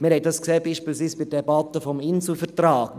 Wir sahen dies beispielsweise bei der Debatte zum Inselvertrag: